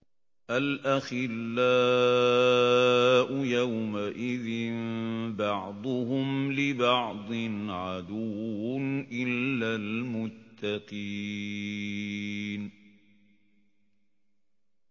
الْأَخِلَّاءُ يَوْمَئِذٍ بَعْضُهُمْ لِبَعْضٍ عَدُوٌّ إِلَّا الْمُتَّقِينَ